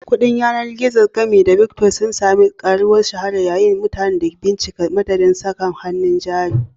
Kuɗin yanar gizo, gami da Bitcoin, sun sami karuwar shahara yayin da mutane ke bincika madadin saka hannun jari.